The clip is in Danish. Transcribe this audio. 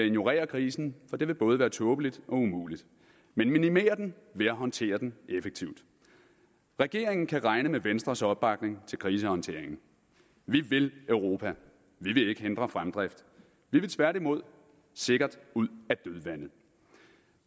ignorere krisen for det vil både være tåbeligt og umuligt men minimere den ved at håndtere den effektivt regeringen kan regne med venstres opbakning til krisehåndteringen vi vil europa vi vil ikke hindre fremdrift vi vil tværtimod sikkert ud